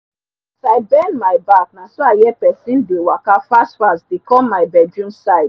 as i bend my back naso i hear pesin dey waka fast fast dey com my bedroom side